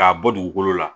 K'a bɔ dugukolo la